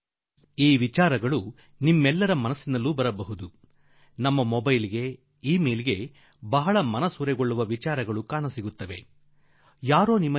ನಮ್ಮ mobile phone ನಲ್ಲಿ ನಮ್ಮ ಇ ಮೇಲ್ ನಲ್ಲಿ ಬಹಳ ಮರುಳು ಮಾಡುವ ಮಾತುಗಳು ಆಗಾಗ ನಮಗೆ ಬರುತ್ತಿರುವ ಇಂತಹ ಸಂಗತಿ ನಿಮ್ಮೆಲ್ಲರ ಗಮನಕ್ಕೂ ಬಂದಿರಲಿಕ್ಕೆ ಸಾಕು